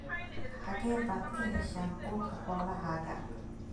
Xagee baad ka heshaan quudka xoolahaaga?